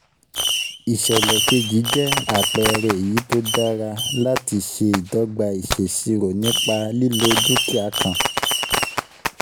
Ìsèlè keji jẹ́ àpẹẹrẹ èyí tó dára láti dára láti ṣe ìdogba ìsèṣirò nípa lílo dúkìá kan.